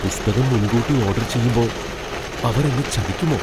പുസ്തകം മുൻകൂട്ടി ഓഡർ ചെയ്യുമ്പോ അവർ എന്നെ ചതിക്കുമോ?